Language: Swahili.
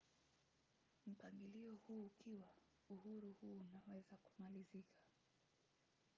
mpangilio huu ukiwa uhuru huu unaweza kumalizika